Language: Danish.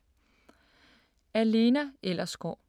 Af Lena Ellersgaard